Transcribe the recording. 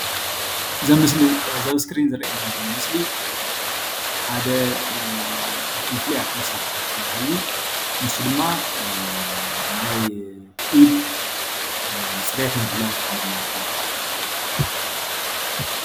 እዚ ኣብ ምስሊ እዚ ኣብ ስክሪን ዝርአየና ዘሎ ምስሊ ሓደ ካፍቶም ፉሉያት መሳርሕታት ዝበሃል እዩ። ንሱ ድማ ናይ ኢድ ፅሬት ንምሕላው እዪ ዝጠቅመና እዩ።